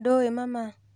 Ndũũi mama.